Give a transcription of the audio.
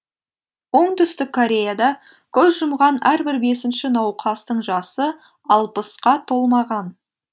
оңтүстік кореяда көз жұмған әрбір бесінші науқастың жасы алпысқа толмаған